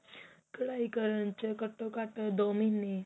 ਕਢਾਈ ਕਰਨ ਚ ਘੱਟੋ ਘੱਟ ਦੋ ਮਹੀਨੇ